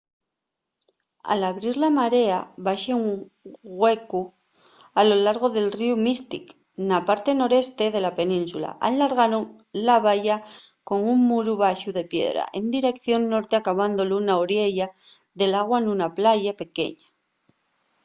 al abrir la marea baxa un güecu a lo llargo del ríu mystic na parte noreste de la península allargaron la valla con un muru baxu de piedra en direición norte acabándolu na oriella del agua nuna playa pequeña